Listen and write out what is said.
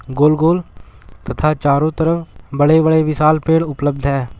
गोल-गोल तथा चारो तरफ बड़े-बड़े विशाल पेड़ उपलब्ध है।